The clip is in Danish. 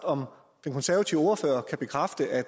om den konservative ordfører kan bekræfte at